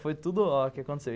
Foi tudo ó o que aconteceu.